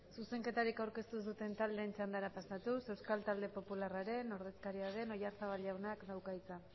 zuzenketarik aurkeztu duten taldeen txandara pasatuz euskal talde popularraren ordezkaria den oyarzabal jaunak dauka hitza